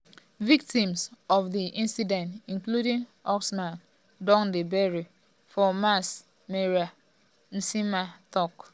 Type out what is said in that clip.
victims of di incident including usman don dey buried um for mass um burial nsema tok.